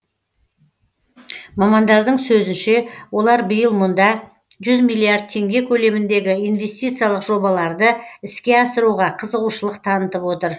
мамандардың сөзінше олар биыл мұнда жүз миллиард теңге көлеміндегі инвестициялық жобаларды іске асыруға қызығушылық танытып отыр